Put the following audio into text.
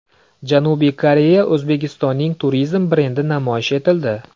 Janubiy Koreyada O‘zbekistonning turizm brendi namoyish etildi .